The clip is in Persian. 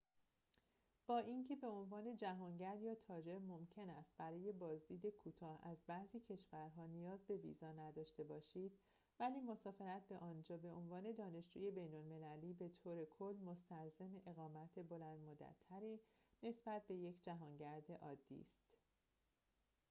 با اینکه به عنوان جهانگرد یا تاجر ممکن است برای بازدید کوتاه از بعضی کشورها نیاز به ویزا نداشته باشید ولی مسافرت به آنجا به عنوان دانشجوی بین‌المللی بطور کل مستلزم اقامت بلندمدت‌تری نسبت به یک جهانگرد عادی است